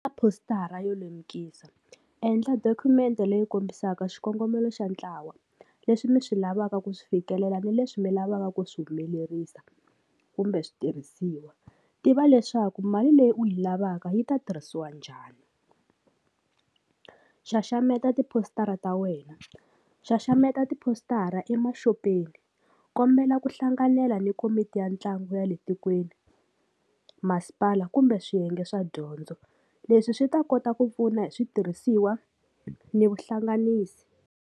A positara yo lemukisa, endla dokumende leyi kombisaka xikongomelo xa ntlawa leswi mi swi lavaka ku swi fikelela ni leswi mi lavaka ku swi humelerisa kumbe switirhisiwa, tiva leswaku mali leyi u yi lavaka yi ta tirhisiwa njhani, xaxameta tipositara ta wena, xaxameta tipositara emaxopeni, kombela ku hlanganela ni komiti ya ntlangu ya le tikweni, masipala kumbe swiyenge swa dyondzo leswi swi ta kota ku pfuna hi switirhisiwa ni vuhlanganisi.